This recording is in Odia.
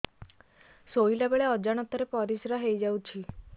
ଶୋଇଲା ବେଳେ ଅଜାଣତ ରେ ପରିସ୍ରା ହେଇଯାଉଛି